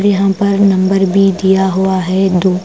यहां पर number B दिया हुआ है दो--